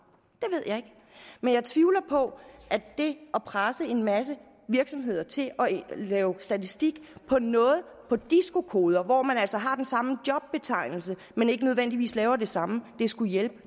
men jeg tvivler på at det at presse en masse virksomheder til at lave statistik på noget på disco koder hvor man altså har den samme jobbetegnelse men ikke nødvendigvis laver det samme skulle hjælpe